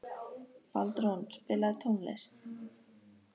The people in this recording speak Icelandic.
Baldrún, spilaðu tónlist.